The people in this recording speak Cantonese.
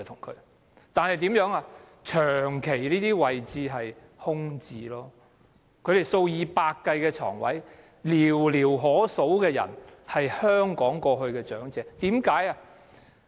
跨境院舍長期空置，床位數以百計，但只有寥寥可數的香港長者入住。